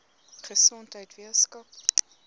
gesondheidweskaap